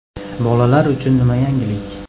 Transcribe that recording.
Bolalar uchun nima yangilik?